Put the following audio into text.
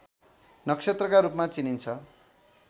नक्षत्रका रूपमा चिनिन्छ